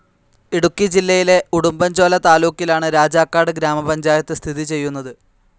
ഇടുക്കി ജില്ലയിലെ ഉടുമ്പൻചോല താലൂക്കിലാണ് രാജാക്കാട് ഗ്രാമപഞ്ചായത്ത് സ്ഥിതി ചെയ്യുന്നത്.